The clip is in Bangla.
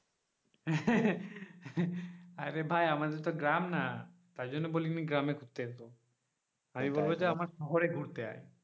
আরে ভাই আমাদের তো গ্রাম না তার জ ন্য বলি নি গ্রামে ঘুরতে এসো আমি বলব যে আমার শহরে ঘুরতে আই.